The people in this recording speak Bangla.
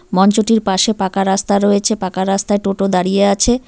মঞ্চটির পাশে পাকা রাস্তা রয়েছে পাকা রাস্তায় টোটো দাঁড়িয়ে আছে।